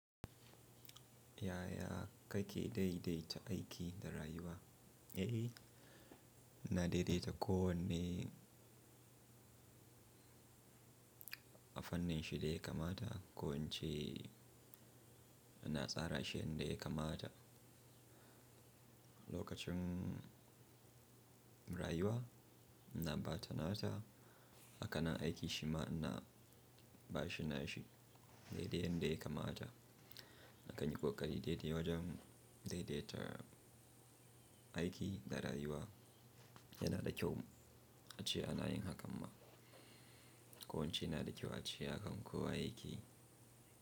Yaya kai ke dai dai ta aiki da rayuwa? Eh, na daidaita ko wanne a fanninshi da ya kamata, ko in ce na tsara shi yadda ya kamata. Lokacin rayuwa na ba ta nata, haka nan aiki shi ma ina ba shi na shi dai-dai yanda ya kamata. Kayi kokari dai dai wajan dai dai ta aiki da rayuwa yana da kyau a ce a na yin hakan ma, ko in ce na da kyau a ce hakan kowa ya ke yi.